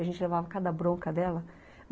A gente levava cada bronca dela.